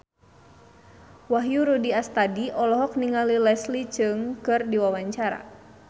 Wahyu Rudi Astadi olohok ningali Leslie Cheung keur diwawancara